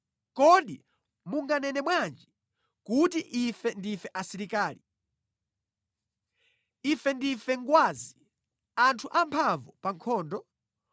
“Kodi munganene bwanji kuti, ‘Ife ndife asilikali. Ife ndife ngwazi, anthu amphamvu pa nkhondo?’